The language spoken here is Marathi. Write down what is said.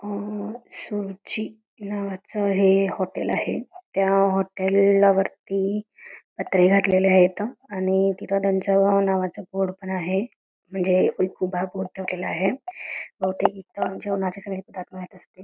सुरुची नावाचं हॉटेल आहे त्या हॉटेलला वरती पत्रे घातले आहेत आणि तिथं त्यांच्या नावाचं बोर्ड पण आहे मंजे बहुतेक हित जेवणच सवे ताट बसतेत |